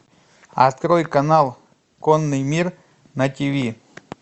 открой канал конный мир на тиви